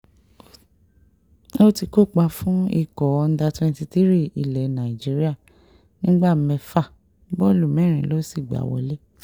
ó ti kópa fún ikọ̀ uder twenty three ilẹ̀ nàìjíríà nígbà mẹ́fà bọ́ọ̀lù mẹ́rin ló sì gbá wọlé